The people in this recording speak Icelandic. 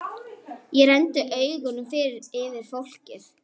Ég renndi augunum yfir fólkið.